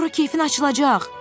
Sonra keyfin açılacaq.